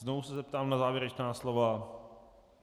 Znovu se zeptám na závěrečná slova.